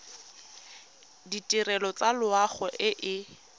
ditirelo tsa loago e e